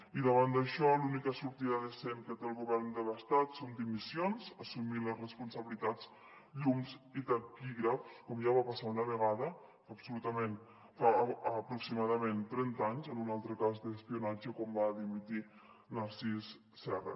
i davant d’això l’única sortida decent que té el govern de l’estat són dimissions assumir les responsabilitats llums i taquígrafs com ja va passar una vegada fa aproximadament trenta anys en un altre cas d’espionatge quan va dimitir narcís serra